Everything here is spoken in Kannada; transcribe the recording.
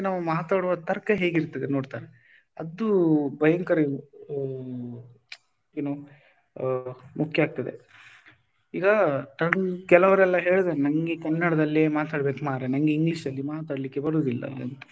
ಮಾತಾಡುವ ತರ್ಕ ಹೇಗಿರ್ತದೆ ನೋಡ್ತಾರೆ ಅದು ಭಯಂಕರ ಏನೋ ಮುಖ್ಯ ಆಗ್ತದೆ. ಈಗ ಕೆಲವ್ರೆಲ್ಲ ಹೇಳ್ತಾರೆ ನಂಗೆ ಕನ್ನಡದಲ್ಲಿ ಮಾತಾಡ್ಬೇಕು ಮರ್ರೆ ನನಗೆ English ಅಲ್ಲಿ ಮಾತಾಡ್ಲಿಕ್ಕೆ ಬರುದಿಲ್ಲ ಅಂತ,